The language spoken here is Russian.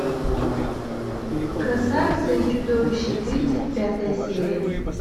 красавица и чудовище тридцать пятая серия